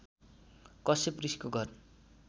कश्यप ऋषिको घर